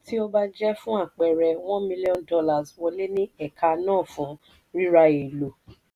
tí ó bá jẹ́ fún àpẹẹrẹ one million dollars wọlé ní ẹ̀ka náà fún rírà èlò.